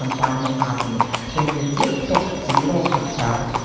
компания атоми то есть для тех кто активировал контракт